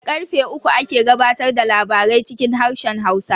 Da karfe uku ake gabatar da labarai cikin harshen Hausa.